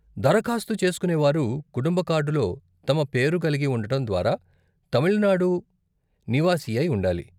దరఖాస్తు చేస్కునే వారు, కుటుంబ కార్డులో తమ పేరు కలిగి ఉండటం ద్వారా, తమిళనాడు నివాసియై ఉండాలి,